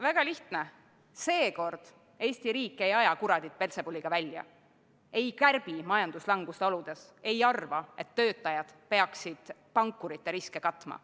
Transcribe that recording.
Väga lihtne: seekord Eesti riik ei aja kuradit peltsebuliga välja, ei kärbi majanduslanguse oludes, ei arva, et töötajad peaksid pankurite riske katma.